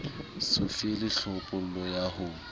so fele tlhophollo ya ho